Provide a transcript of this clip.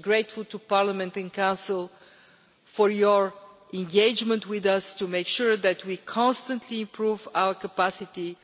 We are grateful to Parliament and to the Council for your engagement with us to make sure that we constantly improve our capacity